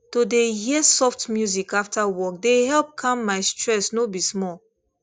to dey hear soft music after work dey help calm my stress no be small